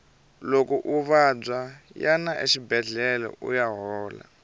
loko u vabya yana exibedlhele uya hola